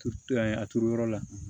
Turu yan a turu yɔrɔ la